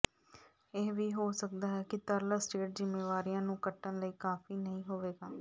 ਇਹ ਵੀ ਹੋ ਸਕਦਾ ਹੈ ਕਿ ਤਰਲ ਅਸਟੇਟ ਜ਼ਿੰਮੇਵਾਰੀਆਂ ਨੂੰ ਕੱਟਣ ਲਈ ਕਾਫੀ ਨਹੀਂ ਹੋਵੇਗਾ